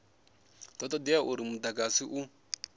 do todea uri mudagasi u